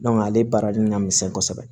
ale baarali min ka misɛn kosɛbɛ